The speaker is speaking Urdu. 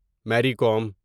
مری کوم